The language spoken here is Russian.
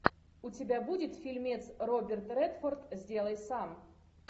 у тебя будет фильмец роберт редфорд сделай сам